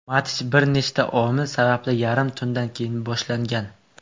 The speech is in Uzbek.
Match bir nechta omil sababli yarim tundan keyin boshlangan.